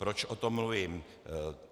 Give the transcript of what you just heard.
Proč o tom mluvím?